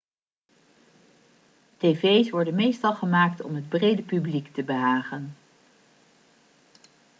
tv's worden meestal gemaakt om het brede publiek te behagen